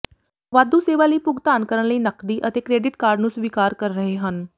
ਵਾਧੂ ਸੇਵਾ ਲਈ ਭੁਗਤਾਨ ਕਰਨ ਲਈ ਨਕਦੀ ਅਤੇ ਕ੍ਰੈਡਿਟ ਕਾਰਡ ਨੂੰ ਸਵੀਕਾਰ ਕਰ ਰਹੇ ਹਨ